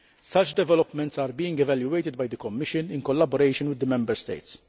Such developments are being evaluated by the Commission in collaboration with the Member States.